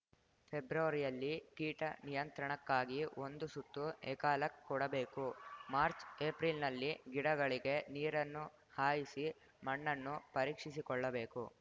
ಫೆಬ್ರವರಿಯಲ್ಲಿ ಕೀಟ ನಿಯಂತ್ರಣಕ್ಕಾಗಿ ಒಂದು ಸುತ್ತು ಎಕಾಲಕ್ ಕೊಡಬೇಕು ಮಾರ್ಚ್ ಏಪ್ರಿಲ್‌ನಲ್ಲಿ ಗಿಡಗಳಿಗೆ ನೀರನ್ನು ಹಾಯಿಸಿ ಮಣ್ಣನ್ನು ಪರೀಕ್ಷಿಸಿಕೊಳ್ಳಬೇಕು